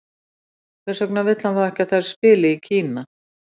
Hvers vegna vill hann þá ekki að þær spili í Kína?